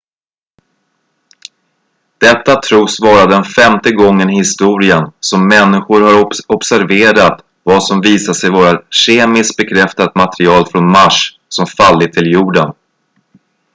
detta tros vara den femte gången i historien som människor har observerat vad som visat sig vara kemiskt bekräftat material från mars som fallit till jorden